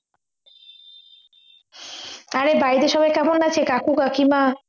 আরে বাড়িতে সবাই কেমন আছে কাকু কাকিমা